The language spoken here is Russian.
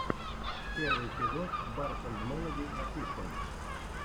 первый эпизод барс энд мелоди офишэл